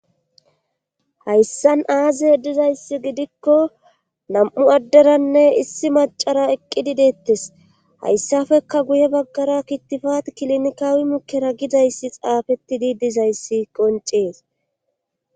Hayssan aazihe dizayssi gidikko nam'u adderanne issi macara eqqidi deettes hayssafekka guye baggara kittifat kilinkawi mukera gidayssi xaafetti dii dizayssi qoncees.